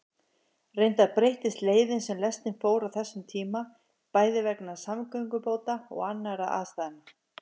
Reyndar breyttist leiðin sem lestin fór á þessum tíma, bæði vegna samgöngubóta og annarra aðstæðna.